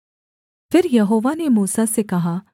फिर यहोवा ने मूसा से कहा